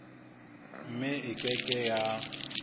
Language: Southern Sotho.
mme e ke ke ya